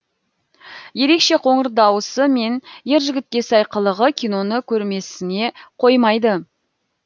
ерекше қоңыр дауысы мен ер жігітке сай қылығы киноны көрмесіңе қоймайды